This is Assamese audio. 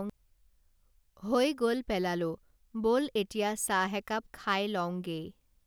হৈ গল পেলালোঁ বল এতিয়া চাহ একাপ খায় লওঁঙগেই